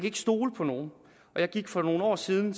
ikke stole på nogen jeg gik for nogle år siden